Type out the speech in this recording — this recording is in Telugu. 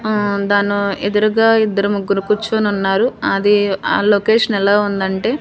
ఆ దాన్ను ఎదురుగా ఇద్దరు ముగ్గురు కూర్చొనున్నారు అది ఆ లొకేషన్ ఎలా ఉందంటే--